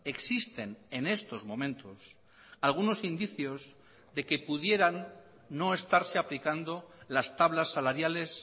existen en estos momentos algunos indicios de que pudieran no estarse aplicando las tablas salariales